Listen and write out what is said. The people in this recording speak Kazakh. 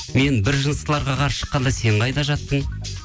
мен біржыныстыларға қарсы шыққанда сен қайда жаттың